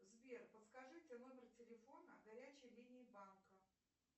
сбер подскажите номер телефона горячей линии банка